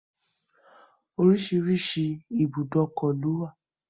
Oríṣiríṣi ìbùdókọ̀ lówà.